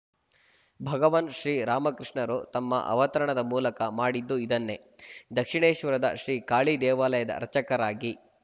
ಭಗವಾನ್ ಶ್ರೀರಾಮಕೃಷ್ಣರು ತಮ್ಮ ಅವತರಣದ ಮೂಲಕ ಮಾಡಿದ್ದು ಇದನ್ನೇ ದಕ್ಷಿಣೇಶ್ವರದ ಶ್ರೀ ಕಾಳಿದೇವಾಲಯದ ಅರ್ಚಕರಾಗಿ